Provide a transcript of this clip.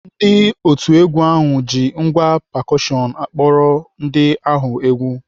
Ndị otu egwu ahụ ji ngwá pekushọn akpọrọ ndị ahụ egwu.